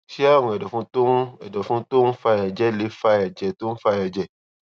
ṣé àrùn èdòfun tó ń èdòfun tó ń fa èjè lè fa èjè tó ń fa èjè